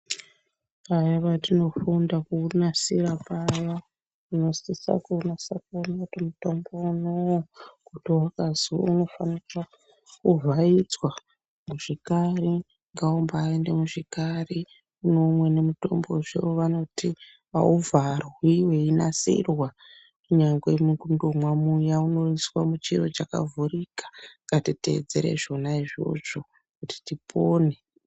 Paya patinofunda kuunasira paya tinosisa kunasa kuona kuti mutombo unou kuti ukazwi unofanha kuvharidzwa muzvikari ngaumbaende muzvikari kunoumweni mitombo imweni inombazwi auvharwi weinasirwa kunyangwe mukundomwa kuya unondoiswa muchiro chakavhurika ngatiteedzera zvona izvozvo kuti tipone.